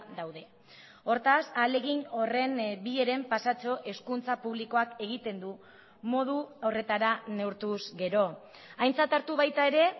daude hortaz ahalegin horren bi heren pasatxo hezkuntza publikoak egiten du modu horretara neurtuz gero aintzat hartu baita ere